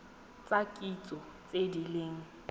tsa kitso tse di leng